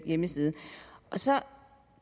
hjemmeside så